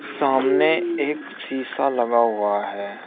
सामने एक शीशा लगा हुआ है।